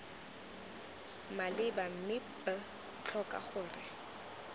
maleba mme b tlhoka gore